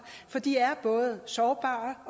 for de er både sårbare